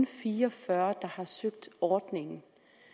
fire og fyrre der har søgt ordningen